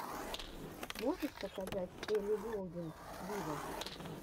можешь показать элли голдинг виво